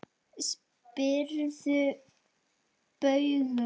Spyrðu Bauju!